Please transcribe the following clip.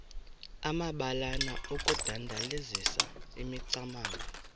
amabalana okudandalazisa imicamango